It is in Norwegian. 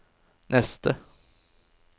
neste